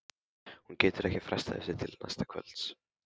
Hún getur ekki frestað þessu til næsta kvölds.